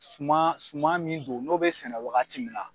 Suma suma min do n'o bɛ sɛnɛ wagati min na.